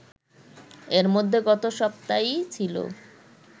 এর মধ্যে গত সপ্তায়ই ছিল